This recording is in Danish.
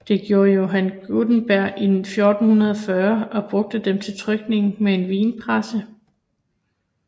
Det gjorde Johann Gutenberg i 1440 og brugte dem til trykning med en vinpresse